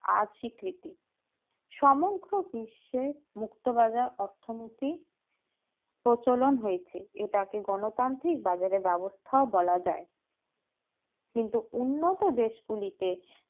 আস্বকৃতি সমগ্র বিশ্বের মুক্ত বাজার অর্থনীতি প্রচলন হয়েছে এটাকে গণতান্ত্রীক বাজারে ব্যবস্থা বলা যায় কিন্তু উন্নত দেশ গুলিতে